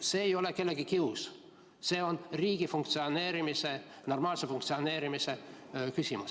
See ei ole kellegi kius, see on riigi funktsioneerimise, normaalse funktsioneerimise küsimus.